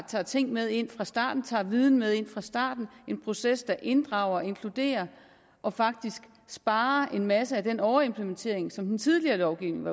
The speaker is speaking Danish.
tager ting med ind fra starten tager viden med ind fra starten en proces der inddrager og inkluderer og faktisk sparer for en masse af den overimplementering som den tidligere lovgivning